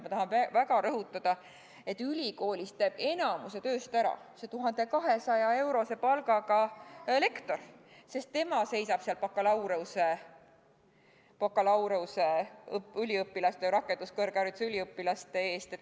Ma tahan väga rõhutada, et ülikoolis teeb enamiku tööst ära see 1200-eurose palgaga lektor, sest tema seisab seal bakalaureuseõppe ja rakenduskõrghariduse üliõpilaste ees.